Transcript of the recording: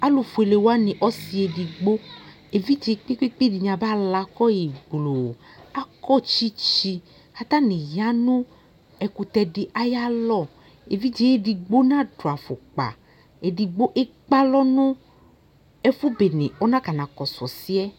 alu ƒʋele wani ɔsiedigbo ividzie kpe kpe kpee dini aba lɔ kɔyi gbloo akɔ tsitsi katani yanu ɛkʋtɛdi ayalɔɔ ɛvidzee edigbo nadu aƒʋkpaa ɛdigbo ekpe alɔ nu ɛfʋbene ɔnakana kɔsʋ ɔsiɛ